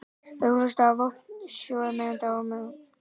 Öflugasta vopn Sovétmanna var mannafli þeirra.